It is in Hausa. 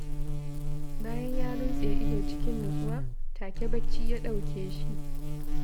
Bayan ya runtse ido cikin nutsuwa, take bacci ya ɗauke shi